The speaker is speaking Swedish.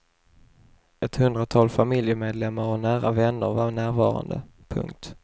Ett hundratal familjemedlemmar och nära vänner var närvarande. punkt